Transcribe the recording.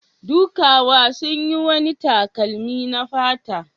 Dukawa sun yi wani takalmi na fata.